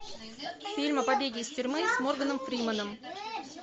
фильм о побеге из тюрьмы с морганом фрименом